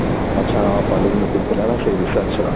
ଆଛା collage meeting ଥିଲା ନା ସେଇ research ର